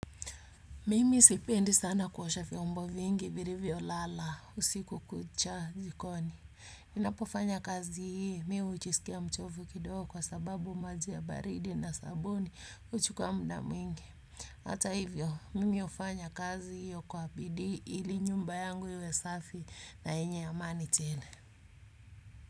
Mimi sipendi sana kuosha vyombo vingi vilivyolala usiku kucha jikoni. Ninapofanya kazi hii mi hujisikia mchovu kidogo kwa sababu maji ya baridi na sabuni huchukua muda mwingi. Hata hivyo, mimi hufanya kazi hiyo kwa bidii ili nyumba yangu iwe safi na yenye amani tele.